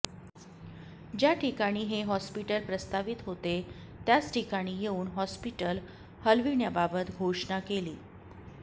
ज्या ठिकाणी हे हॉस्पिटल प्रस्तावित होते त्याच ठिकाणी येऊन हॉस्पिटल हलविण्याबाबत घोषणा केली